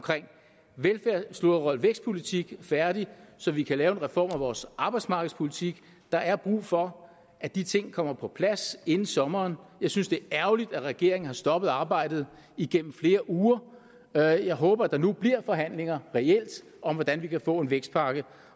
vækstpolitik færdig så vi kan lave en reform af vores arbejdsmarkedspolitik der er brug for at de ting kommer på plads inden sommeren jeg synes det er ærgerligt at regeringen har stoppet arbejdet gennem flere uger jeg jeg håber at der nu bliver forhandlinger om hvordan vi kan få en vækstpakke